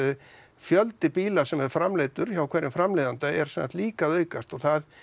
fjöldi bíla sem er framleiddur hjá hverjum framleiðanda er sem sagt líka að aukast og það